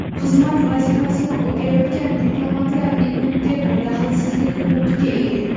xizmat vazifasini o‘tayotgan diplomatlar immunitet va daxlsizlik huquqiga ega.